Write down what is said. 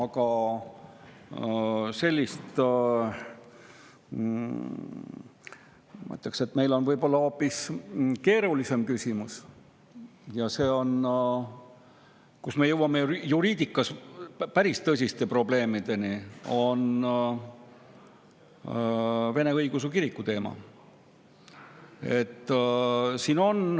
Ma ütleks, et meil on võib-olla hoopis keerulisem küsimus, mille puhul me jõuame juriidikas päris tõsiste probleemideni, ja see on Vene Õigeusu Kiriku teema.